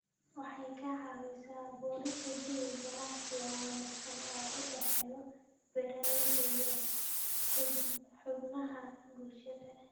Waxay ka caawisaa abuurista jawi ganacsi oo wanaagsan oo u dhexeeya beeralayda iyo xubnaha bulshada.